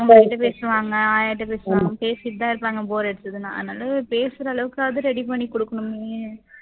உங்ககிட்ட பேசுவாங்க, ஆயாகிட்ட பேசுவாங்க பேசிட்டு தான் இருப்பாங்க bore அடிச்சுதுன்னா அதுனால பேசுற அளவுக்காவது ready பண்ணி கொடுக்கணுமே